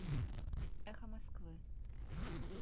эхо москвы